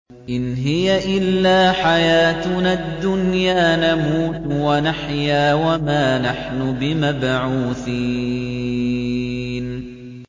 إِنْ هِيَ إِلَّا حَيَاتُنَا الدُّنْيَا نَمُوتُ وَنَحْيَا وَمَا نَحْنُ بِمَبْعُوثِينَ